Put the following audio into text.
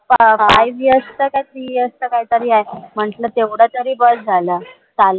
IVS का CES असं काहीतरी आहे म्हंटल तेवढं तरी बस झालं